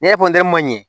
Ne ye ma ɲe